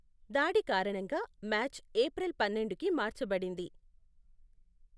దాడి కారణంగా match April పన్నెండుకి మార్చబడింది.